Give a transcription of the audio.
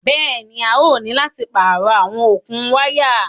Bẹ́ẹ̀ni, a yóò ni láti páarọ̀ àwọn okun wàya